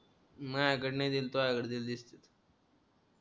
मज्याकडं नाय दिले तूज्याकडं दिलेलं दिसत्यात